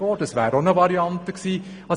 Auch das wären Varianten.